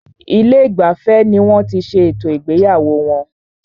Ilé ìgbafẹ́ ní wọ́n tí ṣé ètò ìgbéyàwó wọn.